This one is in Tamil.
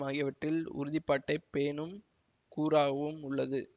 ஆகியவற்றில் உறுதிப்பாட்டைப் பேணும் கூறாகவும் உள்ளது